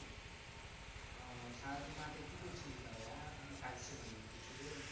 ওহ সারাদিন মাঠে কি করছিলিস তাহলে হ্যাঁ কাজ ছিলো নাকি কিছু?